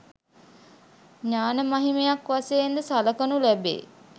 ඥාන මහිමයක් වශයෙන් ද සලකනු ලැබේ.